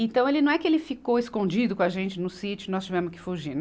Então, ele não é que ele ficou escondido com a gente no sítio e nós tivemos que fugir.